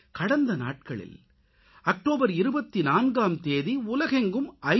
கடந்த நாட்களில் அக்டோபர் 24ஆம் தேதி உலகெங்கும் ஐ